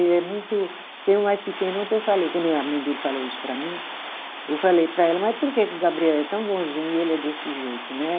Ele é muito. Tem um mais pequeno, ontem eu falei, quando é a mãe dele falou isso para mim, eu falei para ela, mas por que que o Gabriel é tão bonzinho e ele é desse jeito, né?